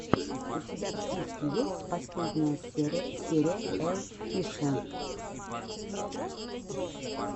у тебя в списке есть последняя серия элффише